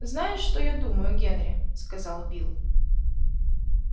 знаешь что я думаю генри сказал билл